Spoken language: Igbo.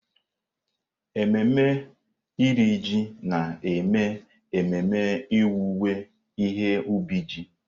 Ememe Iri Ji na-eme ememe owuwe ihe ubi ji.